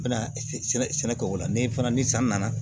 Na sɛnɛ kɛ o la ni fana ni san nana